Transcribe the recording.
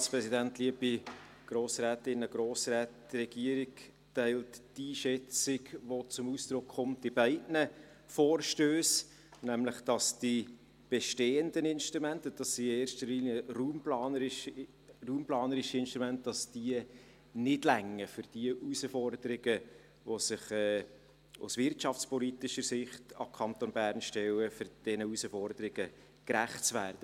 Die Regierung teilt die Einschätzung, die bei beiden Vorstössen zum Ausdruck kommt, nämlich, dass die bestehenden Instrumente – und dies sind in erster Linie raumplanerische Instrumente – nicht ausreichen, um dem Herausforderungen, die sich aus wirtschaftspolitischer Sicht an den Kanton Bern stellen, gerecht zu werden.